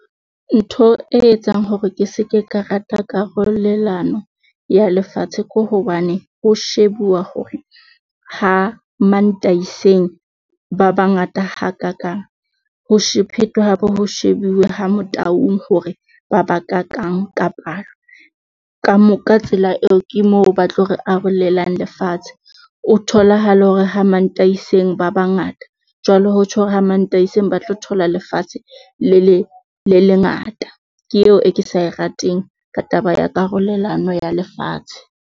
Ntho e etsang hore ke se ke ka rata karolelano ya lefatshe ke hobane ho shebuwa hore ha Mantaiseng ba bangata hakakang. Ho phethwe hape ho shebuwe ha Motaung hore ba ba kakang kapa ka palo. Ka mo ka tsela eo ke moo ba tlo re arolelang lefatshe. O tholahale hore ha Mantaiseng ba bangata, jwalo ho tjho hore ha Mataiseng ba tlo thola lefatshe le le le lengata. Ke eo e ke sa e rateng ka taba ya karolelano ya lefatshe.